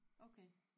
Okay